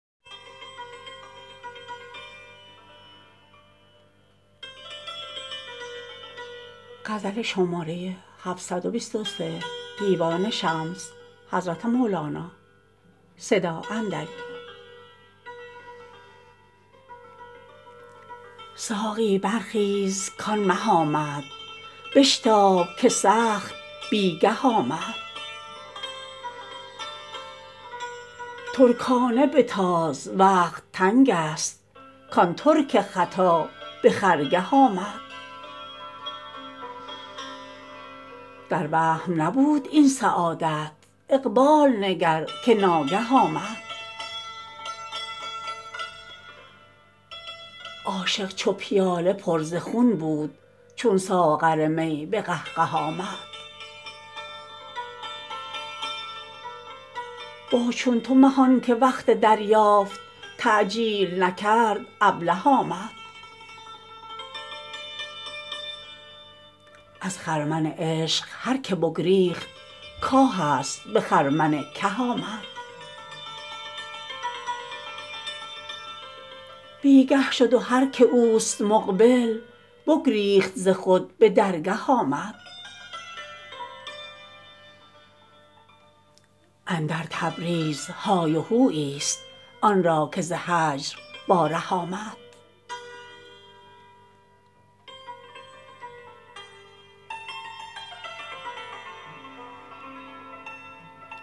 ساقی برخیز کان مه آمد بشتاب که سخت بی گه آمد ترکانه بتاز وقت تنگست کان ترک ختا به خرگه آمد در وهم نبود این سعادت اقبال نگر که ناگه آمد عاشق چو پیاله پر ز خون بود چون ساغر می به قهقه آمد با چون تو مه آنک وقت دریافت تعجیل نکرد ابله آمد از خرمن عشق هر کی بگریخت کاه است به خرمن که آمد بی گه شد و هر کی اوست مقبل بگریخت ز خود به درگه آمد اندر تبریز های و هویی ست آن را که ز هجر با ره آمد